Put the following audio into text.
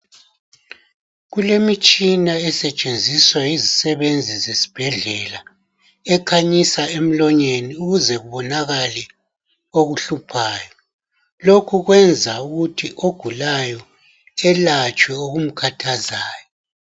Kulemitshina esetshenziswa yizisebenzi zesibhedlela ekhanyisa emlonyeni ukuze kubonakale okuhluphayo. Lokhu kwenza ukuthi ogulayo elatshwe okumkhathazayo.